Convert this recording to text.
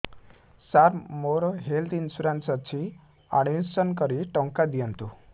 ସାର ମୋର health insurance ଅଛି admission କରି ଟଙ୍କା ଦିଅନ୍ତୁ